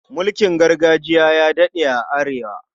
Mulkin gargajiya ya daɗe a Arewa.